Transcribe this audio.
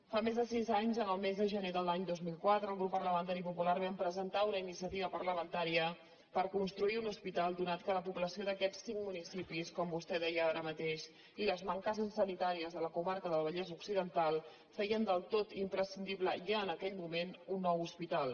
fa més de sis anys el mes de gener de l’any dos mil quatre el grup parlamentari popular vam presentar una iniciativa parlamentària per construir un hospital atès que la població d’aquests cinc municipis com vostè deia ara mateix i les mancances sanitàries de la comarca del vallès occidental feien del tot imprescindible ja en aquell moment un nou hospital